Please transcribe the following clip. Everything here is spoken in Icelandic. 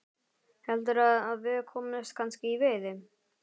Heldurðu að við komumst kannski í veiði?